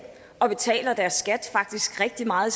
og betaler deres skat faktisk rigtig meget